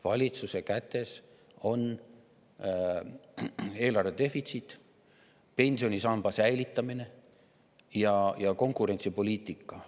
Valitsuse kätes on eelarve defitsiit, pensionisamba säilitamine ja konkurentsipoliitika.